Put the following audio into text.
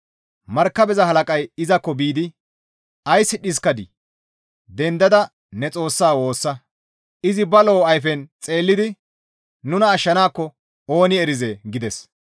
Markabeza halaqay izakko biidi, «Ays dhiskadii? Dendada ne xoossaa woossa! Izi ba lo7o ayfen xeellidi nuna ashshanaakko ooni erizee!» gides.